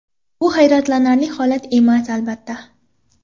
Bu hayratlanarli holat emas, albatta.